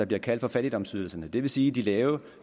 bliver kaldt fattigdomsydelser det vil sige de lave